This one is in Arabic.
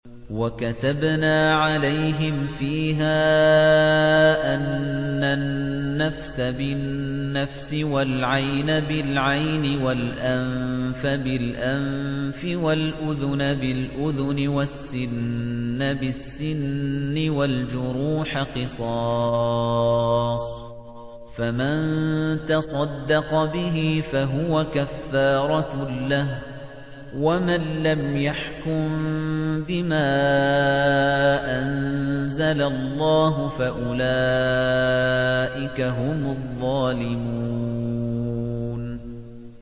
وَكَتَبْنَا عَلَيْهِمْ فِيهَا أَنَّ النَّفْسَ بِالنَّفْسِ وَالْعَيْنَ بِالْعَيْنِ وَالْأَنفَ بِالْأَنفِ وَالْأُذُنَ بِالْأُذُنِ وَالسِّنَّ بِالسِّنِّ وَالْجُرُوحَ قِصَاصٌ ۚ فَمَن تَصَدَّقَ بِهِ فَهُوَ كَفَّارَةٌ لَّهُ ۚ وَمَن لَّمْ يَحْكُم بِمَا أَنزَلَ اللَّهُ فَأُولَٰئِكَ هُمُ الظَّالِمُونَ